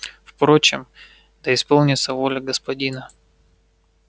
впрочем да исполнится воля господина